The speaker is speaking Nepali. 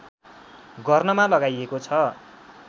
गर्नमा लगाइएको छ